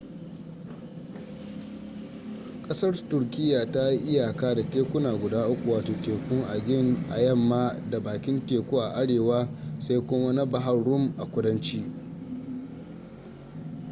kasar turkiya ta yi iyaka da tekuna guda uku wato tekun aegean a yamma da bakin teku a arewa sai kuma na bahar rum a kudanci